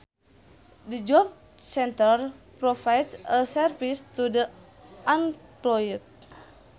The Job Centre provides a service to the unemployed